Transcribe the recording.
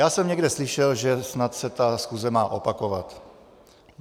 Já jsem někde slyšel, že snad se ta schůze má opakovat.